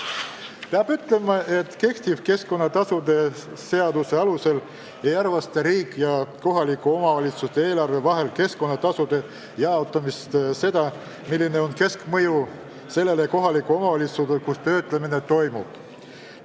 Peab ütlema, et kehtiva keskkonnatasude seaduse alusel riigieelarve ja kohaliku omavalitsuse eelarve vahel keskkonnatasude jaotamisel ei arvestata seda, milline on keskkonnamõju sellele kohalikule omavalitsusele, kus tööstus asub.